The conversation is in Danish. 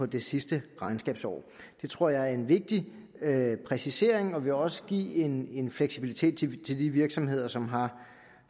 det sidste regnskabsår det tror jeg er en vigtig præcisering og det vil også give en en fleksibilitet til de virksomheder som har